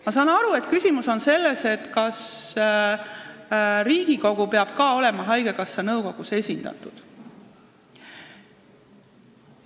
Ma saan aru, et küsimus on selles, kas Riigikogu peab ka olema haigekassa nõukogus esindatud.